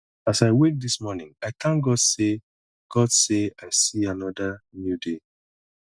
as i wake this morning i thank god say god say i see another new day